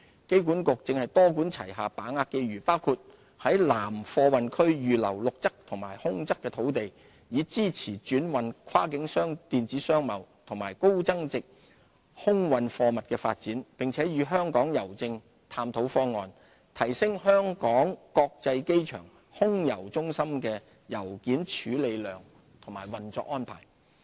機管局正多管齊下把握機遇，包括在南貨運區預留陸側和空側土地，以支持轉運、跨境電子商貿及高增值空運貨物的發展，並與香港郵政探討方案，提升香港國際機場空郵中心的郵件處理量和運作安排。